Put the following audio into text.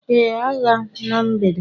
Ee, agha na mgbede